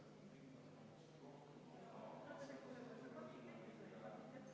Läheme edasi, muudatusettepanek nr 2.